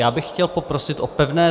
Já bych chtěl poprosit o pevné...